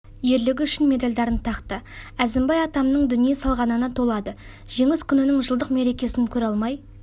ерлігі үшін медальдарын тақты әзімбай атамның дүние салғанына толады жеңіс күнінің жылдық мерекесін көре алмай